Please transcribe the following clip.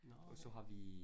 Nåh okay